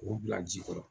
K'o bila ji kɔrɔ